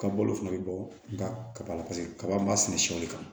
Ka balo fana bɛ bɔ nka kaba la paseke kaba m'a sɛnɛ sɛw le kan